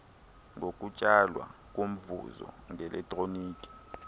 ngokutsalwa komvuzo ngeletroniki